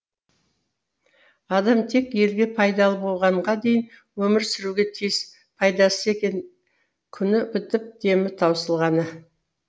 адам тек елге пайдалы болғанға дейін өмір сүруге тиіс пайдасыз екен күні бітіп демі таусылғаны